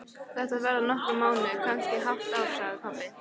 Þetta verða nokkrir mánuðir, kannski hálft ár, sagði pabbi.